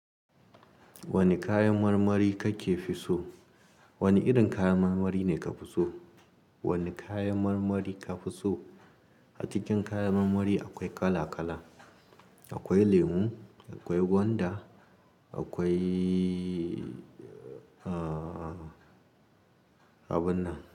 Wani kayan marmari kake fi so? Wani irin kayan marmari ne ka fi so? Wani kayan marmari ka fi so? A cikin kayan marmari akwai kala-kala. Akwai lemu, akwai gwanda, akwai, a, abun nan.